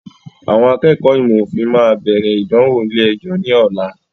Àwọn akẹ́kọ̀ọ́ ìmọ̀ òfin máa bẹ̀rẹ̀ ìdánwò ilé ẹjọ́ ní ọ̀la.